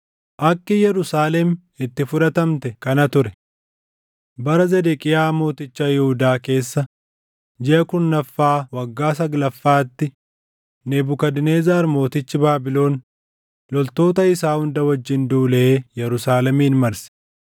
Akki Yerusaalem itti fudhatamte kana ture: Bara Zedeqiyaa Mooticha Yihuudaa keessa jiʼa kurnaffaa waggaa saglaffaatti, Nebukadnezar mootichi Baabilon loltoota isaa hunda wajjin duulee Yerusaalemin marse.